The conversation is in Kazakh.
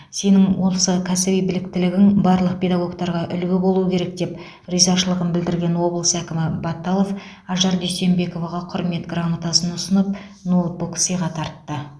сенің осы кәсіби біліктілігің барлық педагогтарға үлгі болуы керек деп ризашылығын білдірген облыс әкімі баталов ажар дүйсенбековаға құрмет грамотасын ұсынып ноутбук сыйға тартты